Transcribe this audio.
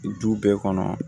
Du bɛɛ kɔnɔ